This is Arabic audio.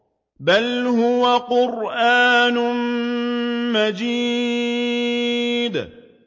بَلْ هُوَ قُرْآنٌ مَّجِيدٌ